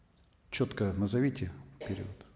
четко назовите период